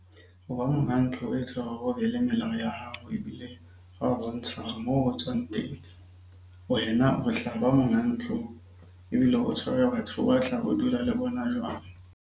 Ho ba monga ntlo e etsa hore o be le melao ya hao. Ebile hwa bontsha moo o tswang teng, wena ho monga ntlo. Ebile o tshwere batho ho dula le bona jwang?